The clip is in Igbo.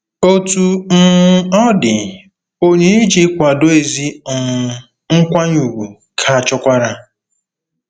Otú um ọ dị, onyinye iji kwado ezi um nkwanye ùgwù ka chọkwara.